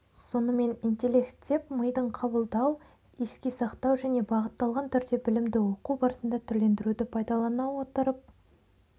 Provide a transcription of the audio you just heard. сонымен интеллект деп мидың қабылдау еске сақтау және бағытталған түрде білімді оқу барысында түрлендіруді пайдалана отырып